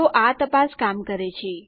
તો આ તપાસ કામ કરે છે